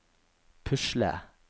pusle